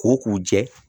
Ko k'u jɛ